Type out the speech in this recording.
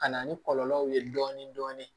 Ka na ni kɔlɔlɔw ye dɔɔnin dɔɔnin